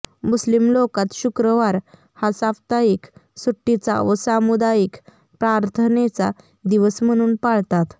मुस्लिम लोकात शुक्रवार हा साप्ताहिक सुट्टीचा व सामुदायिक प्रार्थनेचा दिवस म्हणून पाळतात